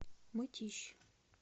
мытищ